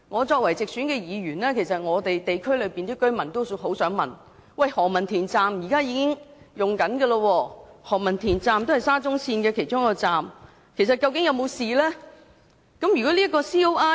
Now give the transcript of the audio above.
作為直選議員，我得悉區內居民都很想知道，現已啟用的何文田站也是沙中線其中一個站，究竟該站是否安全？